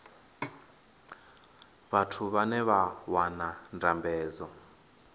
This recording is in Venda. vhathu vhane vha wana ndambedzo